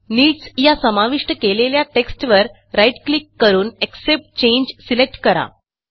needsया समाविष्ट केलेल्या टेक्स्टवर राईट क्लिक करून एक्सेप्ट चांगे सिलेक्ट करा